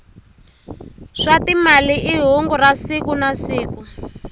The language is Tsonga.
swa timali i hungu ra siku nasiku